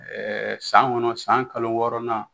Ɛɛ san kɔnɔ san kalo wɔɔrɔnan